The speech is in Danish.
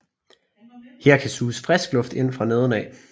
Her kan suges frisk luft ind fra neden af